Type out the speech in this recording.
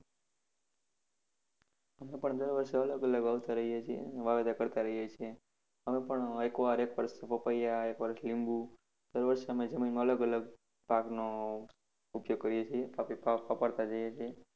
અમે પણ દર વર્ષે અલગ અલગ વાવતાં રહીએ છીએ વાવેતર કરતા રહીએ છીએ. અમે પણ એક વાર એક વર્ષ પપીયા એક વર્ષ લીંબુ. દર વર્ષે અમે જમીનમાં અલગ અલગ પાકનો ઉપ્યોગ કરીએ છીએ. પાક જઈએ છીએ.